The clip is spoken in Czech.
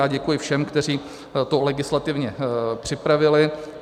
Já děkuji všem, kteří to legislativně připravili.